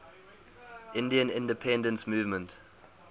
indian independence movement